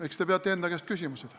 Eks te peate enda käest seda küsima.